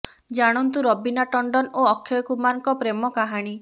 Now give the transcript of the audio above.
ଜାଣନ୍ତୁ ରବିନା ଟଂଡନ ଓ ଅକ୍ଷୟ କୁମାରଙ୍କ ପ୍ରେମ କାହାଣୀ